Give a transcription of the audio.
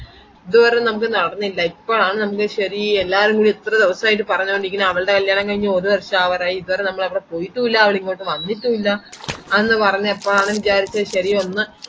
ഇതുവരെ നമക് നടന്നില്ല ഇപ്പൊ ആണ് നമക് ശരി എല്ലാരുകൂടെ ഇത്ര ദിവസയായിട്ടു പറഞ്ഞോണ്ട് ഇരിക്കാണ് അവൾടെ കൈഞ്ഞു ഒരു വര്ഷം ആവാറായി ഇതുവരെ നമ്മൾ അവടെ പൊയിട്ടുല്ല അവൾ ഇങ്ങോട്ടു വന്നിട്ടുല്ല അന്ന് പറഞ്ഞപ്പോ അവൻ വിചാരിച്ചു ശരി ഒന്ന്